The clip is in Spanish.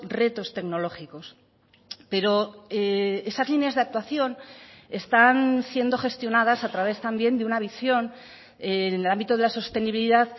retos tecnológicos pero esas líneas de actuación están siendo gestionadas a través también de una visión en el ámbito de la sostenibilidad